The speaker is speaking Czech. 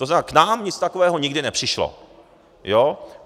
To znamená, k nám nic takového nikdy nepřišlo.